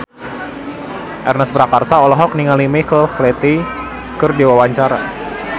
Ernest Prakasa olohok ningali Michael Flatley keur diwawancara